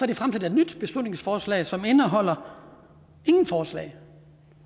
de fremsat et nyt beslutningsforslag som indeholder ingen forslag